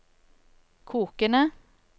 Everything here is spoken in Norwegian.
kokende